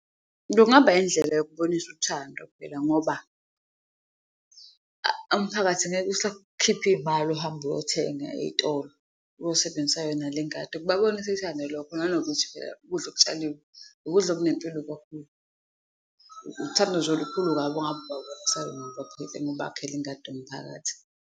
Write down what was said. Kungaba indlela yokubonisa uthando phela ngoba umphakathi angeke usakhipha iy'mali uhambe uyothenga eyitolo, uyosebenzisa yona le ngadi lokho nanokuthi phela ukudla okutshalillwe ukudla okunempilo kakhulu. Uthando nje olukhulu kabi ongabe ubabonisa lona ngokubakhela ingadi yomphakathi.